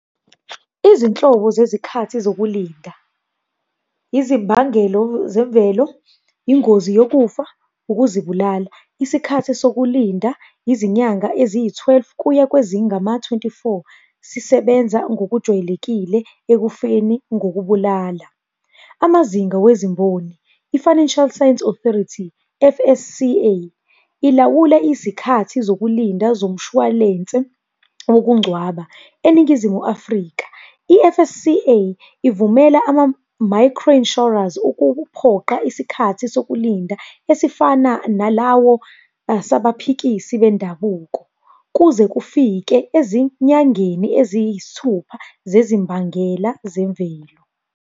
Izinhlobo zezikhathi zokulinda. Izimbangelo zemvelo, ingozi yokufa, ukuzibulala. Isikhathi sokulinda, izinyanga eziyi-twelve kuya kwezingama-twenty-four. Sisebenza ngokujwayelekile ekufeni ngokubulala. Amazinga wezimboni, i-Financial Science Authority, F_S_C_A, ilawula izikhathi zokulinda zomshwalense wokungcwaba eNingizimu Afrika. I-F_S_C_A ivumela ama-micro insurers, ukuphoqa isikhathi sokulinda esifana nalawo sabaphikisi bendabuko, kuze kufike ezinyangeni eziyisithupha zezimbangela zemvelo.